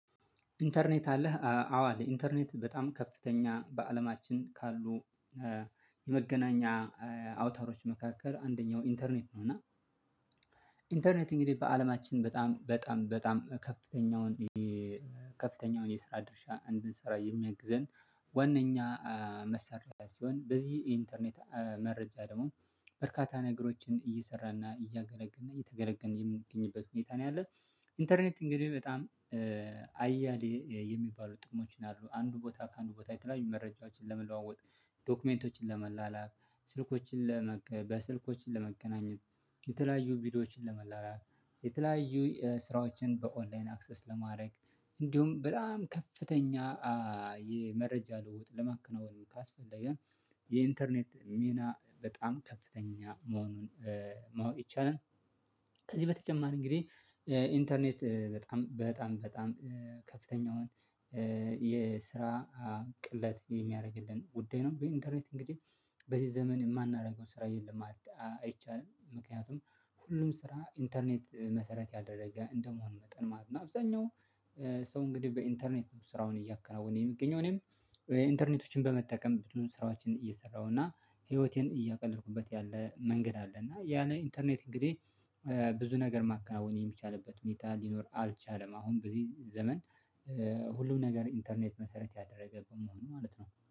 ኢንተርኔት አለህ አዎ አለኝ? ኢንተርኔት በጣም ከፍተኛ በአለማችን ካሉ የመገናኛ አውታሮች መካከል አንደኛው ኢንተርኔት ነው። እና ኢንተርኔት እንግዲህ በአለማችን በጣም በጣም በጣም ከፍተኛውን ከፍተኛውን የስራ ድርሻ እንድንሰራ የሚያግዘን ዋነኛ መሰረታዊ ሲሆን በዚህ ኢንተርኔት መረጃ ደግሞ በርካታ ነገሮችን እየሰራና እያገለገልነ እየተገለገልን የምንገኝበት ሁኔታ ነው ያለው። ኢንተርኔት እንግዲህ በጣም አያሌ የሚባሉ ጥቅሞችን አሉ አንዱ ቦታ ከአንዱ ቦታ የተለያዩ መረጃዎችን ለመለዋወጥ ዶክመንቶችን ለመላላክ ስልኮችን ለመገናኘት የተለያዩ ቪዲዮዎችን ለመላላክ የተለያዩ ስራዎችን በኦንላይን አክሰስ ለማድረግ እንዲሁም በጣም ከፍተኛ የመረጃ ልውጥ ለማከናወን ካስፈለገን የኢንተርኔት ሚና በጣም ከፍተኛ መሆኑን ማወቅ ይቻላል። ከዚህ በተጨማሪ እንግዲህ ኢንተርኔት በጣም በጣም በጣም ከፍተኛውን የስራ ቅለት የሚያደርግልን ጉዳይ ነው። በኢንደርኔት እንግዲህ በዚህ ዘመን የማናደርገው ስራ የለም ማለት አይቻልም ምክንያቱም ሁሉም ስራ ኢንተርኔት መሰረት ያደረገ እንደመሆኑ መጠን ማለት ነው። አብዛኛው ሰው እንግዲህ በኢንተርኔት ስራውን እያከናወነ የሚገኘው እኔም ኢንተርኔቶችን በመጠቀም ብዙ ስራዎችን እየሰራሁ እና ህይወቴን እያቀለልኩበት ያለ መንገድ አለ። እና ያን ኢንተርኔት እንግዲህ ብዙ ነገር ማከናወን የሚቻልበት ሁኔታ ሊኖር አልቻለም። አሁን በዚህ ዘመን ሁሉም ነገር ኢንተርኔት መሰረት ያደረገብን መሆኑ ማለት ነው